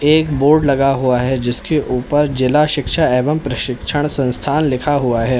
एक बोर्ड लगा हुआ है जिसके ऊपर जिला शिक्षा एवं प्रशिक्षण संस्थान लिखा हुआ है।